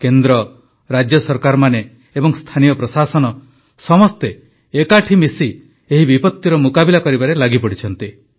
କେନ୍ଦ୍ର ରାଜ୍ୟ ସରକାରମାନେ ଏବଂ ସ୍ଥାନୀୟ ପ୍ରଶାସନ ସମସ୍ତେ ଏକାଠି ମିଶି ଏହି ବିପତ୍ତିର ମୁକାବିଲା କରିବାରେ ଲାଗିପଡ଼ିଛନ୍ତି